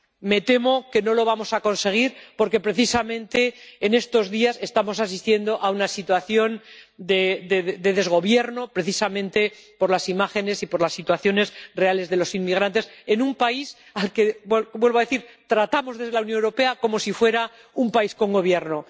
Me temo que no lo vamos a conseguir, porque precisamente en estos días estamos asistiendo a una situación de desgobierno —por las imágenes y por las situaciones reales de los inmigrantes— en un país al que, vuelvo a decir, tratamos desde la Unión Europea como si fuera un país con gobierno.